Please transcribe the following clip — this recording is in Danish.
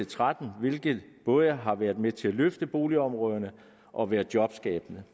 tretten hvilket både har været med til at løfte boligområderne og været jobskabende